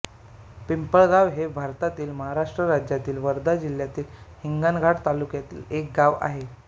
पिंपळगाव हे भारतातील महाराष्ट्र राज्यातील वर्धा जिल्ह्यातील हिंगणघाट तालुक्यातील एक गाव आहे